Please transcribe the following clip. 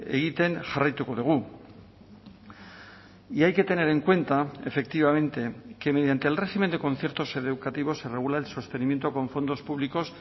egiten jarraituko dugu y hay que tener en cuenta efectivamente que mediante el régimen de conciertos educativos se regula el sostenimiento con fondos públicos